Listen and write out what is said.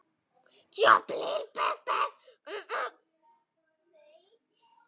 Hefurðu ekkert bréf?